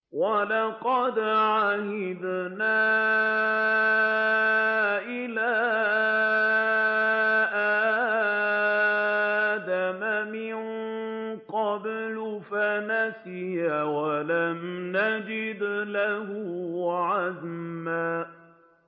وَلَقَدْ عَهِدْنَا إِلَىٰ آدَمَ مِن قَبْلُ فَنَسِيَ وَلَمْ نَجِدْ لَهُ عَزْمًا